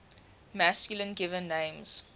masculine given names